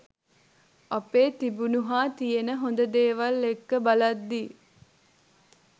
අපේ තිබුණු හා තියෙන හොඳ දේවල් එක්ක බලද්දී